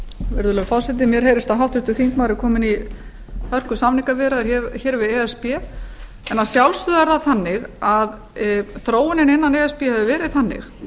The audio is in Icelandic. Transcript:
virðulegi forseti mér heyrist háttvirtur þingmaður vera kominn í hörkusamningaviðræður hér við e s b en þróunin innan e s b hefur verið þannig